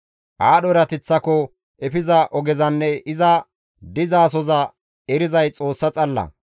Aadho erateththako efiza ogezanne iza dizasoza erizay Xoossa xalla.